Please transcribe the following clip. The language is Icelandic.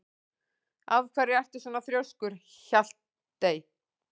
Af hverju ertu svona þrjóskur, Hjaltey?